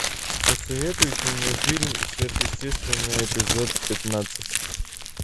посоветуйте мне фильм сверхъестественное эпизод пятнадцать